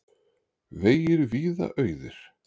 Vegir víða auðir